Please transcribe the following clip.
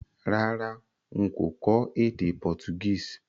Rárá, n kò kó édé Portuguese